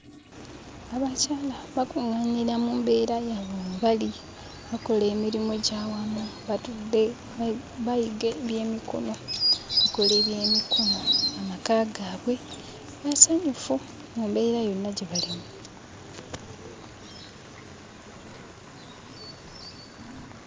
Abakyala bakuŋŋaanira mu mbeera yaabwe mwe bali, bakola emirimu egy'awamu. Batudde bayiga ebyemikono, bakola ebyemikono; amaka gaabwe masanyufu mu mbeera yonna gye balimu.